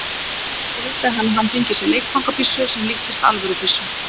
Svo vildi hann að hann fengi sér leikfangabyssu sem líktist alvörubyssu.